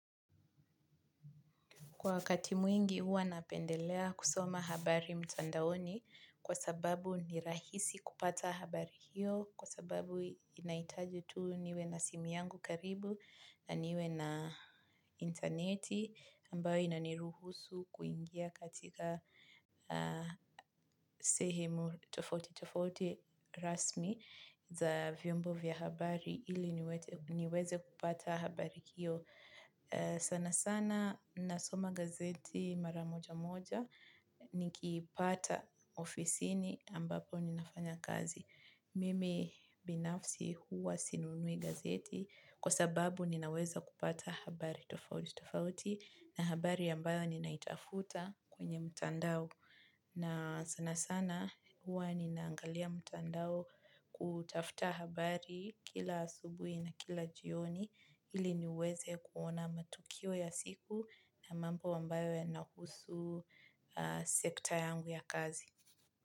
Kwa wakati mwingi huwa napendelea kusoma habari mtandaoni kwa sababu ni rahisi kupata habari hiyo, kwa sababu inaitaji tu niwe na simu yangu karibu na niwe na interneti ambayo inaniruhusu kuingia katika sehemu tofauti tofauti rasmi za vyombo vya habari ili niweze kupata habari hiyo. Sana sana nasoma gazeti maramoja moja ni kipata ofisini ambapo ninafanya kazi. Mimi binafsi huwa sinunui gazeti kwa sababu ninaweza kupata habari tofauti tofauti na habari ambayo ninaitafuta kwenye mutandao. Na sana sana huwa ninaangalia mutandao kutafuta habari kila asubui na kila jioni ili niweze kuona matukio ya siku na mambo wambayo ya nahusu sekta yangu ya kazi.